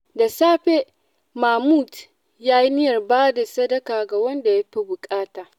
Da safe, Mahmud ya yi niyyar ba da sadaka ga wanda ya fi buƙata.